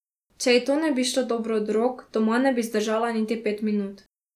Če ji to ne bi šlo dobro od rok, doma ne bi zdržala niti pet minut.